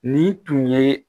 Ni tun ye